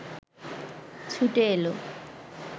ছুটে এল